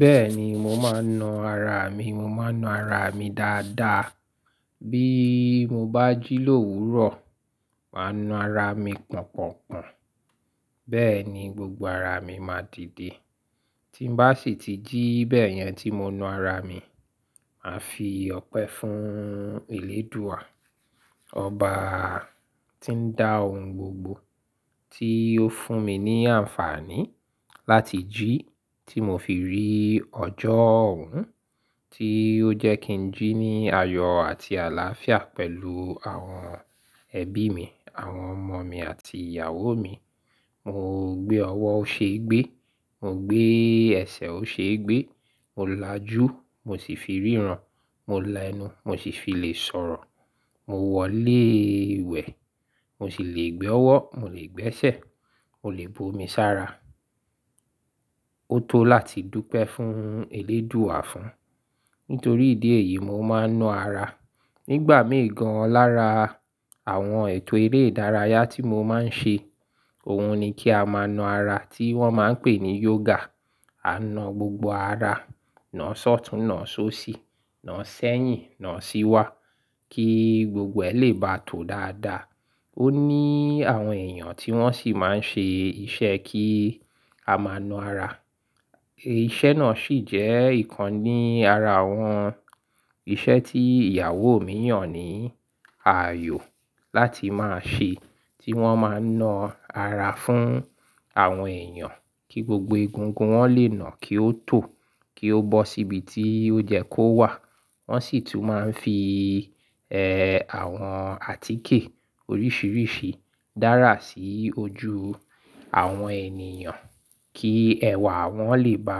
Bẹ́ẹ̀ni, mò ń máa ń na ara mi, mò ń máa ń na ara mi dáadáa. Bí mo bá jí lówúrọ̀ màá na ara mi pọ̀npọ̀npọ̀n. Bẹ́ẹ̀ ni gbogbo ara mi máa dìde. Tí mo bá sì ti jí bẹ́ẹ̀ yẹn tí mo na ara mi, màá fi ọ̀pẹ fún Elédùà. Ọba tí ń dá ohun gbogbo, tí ó fún mi ní àǹfààní láti jí, tí mo fi rí ọjọ́ ọ̀hún, tí ó jẹ́ kí ń jí ní ayọ̀ àti àlàáfíà pẹ̀lú àwọn ẹbí mi, àwọn ọmọ mi àti ìyàwó mi. Mo gbé ọwọ́ o ṣe gbé, mo gbé ẹsẹ̀ o ṣe gbé, mo lajú mo sì fi ríran, mo la ẹnu mo sì fi lè sọ̀rọ̀, mo wọlé ìwẹ̀ mo sì lè gbé ọwọ́, mo lè gbé ẹsẹ̀, mo lè bu omi sára. Ó tó láti dúpẹ́ fún Elédùà fún. Nítorí ìdí èyí, mò ń máa ń na ara. Nígbà mìí gàn lára àwọn ètò eré ìdárayá tí mo máa ń ṣe, òun ni kí a máa na ara tí wọ́n máa ń pè ní yoga. A na gbogbo ara, na sọ́tun, na sósì, na sẹ́yìn, na síwá kí gbogbo ẹ̀ lè bá tó dáadáa. Ó ní àwọn èèyàn tí wọ́n sì máa ń ṣe iṣẹ́ kí a máa na ara. Iṣẹ́ náà sì jẹ́ ìkan ní ara àwọn iṣẹ́ tí ìyàwó mi yàn ní ààyò láti máa ṣe, tí wọ́n máa ń na ara fún àwọn èèyàn kí gbogbo egungun wọn lè na kí ó tò, kí ó bọ́ síbi tí ó yẹ́ kó wà. Wọ́n sì tún máa ń fi, ẹ́, àwọn àtíkè oríṣìíríṣìí dárà sí ojú àwọn ènìyàn kí ẹ̀wà wọn lè bá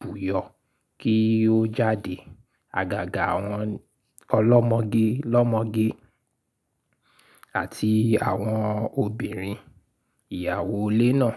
buyọ̀ kí ó jáde. Àgàgà àwọn ọlọ́mọge lọ́mọge àti àwọn obìnrin, ìyàwó ilé náà.